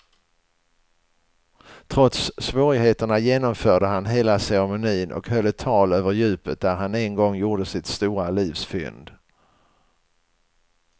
Trots svårigheterna genomförde han hela ceremonin och höll ett tal över djupet där han en gång gjorde sitt stora livs fynd.